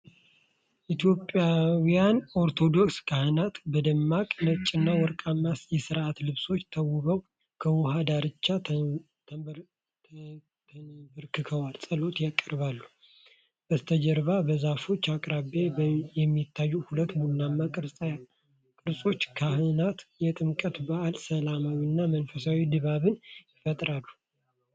ኢትዮጵያውያን ኦርቶዶክስ ካህናት፣ በደማቅ ነጭና ወርቃማ የሥርዓት ልብሶች ተውበው ከውሃ ዳርቻ ተንበርክከው ጸሎት ያቀርባሉ። በስተጀርባ በዛፎች አቅራቢያ የሚታዩ ሁለት ቡናማ ቅርጻ ቅርጾችና ካህናት፣ የጥምቀት በዓል ሰላማዊና መንፈሳዊ ድባብ ይፈጥራሉ።